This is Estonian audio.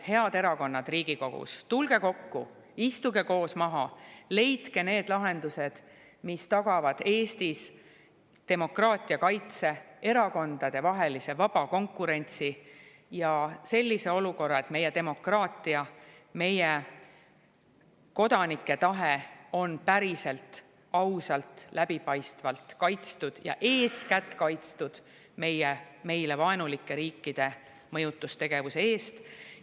–, head erakonnad Riigikogus, tulge kokku, istuge koos maha ja leidke need lahendused, mis tagavad Eestis demokraatia kaitse, erakondadevahelise vaba konkurentsi ja sellise olukorra, et meie demokraatia, meie kodanike tahe on päriselt, ausalt, läbipaistvalt kaitstud, ja eeskätt kaitstud meile vaenulike riikide mõjutustegevuse eest.